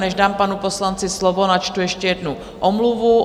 Než dám panu poslanci slovo, načtu ještě jednu omluvu.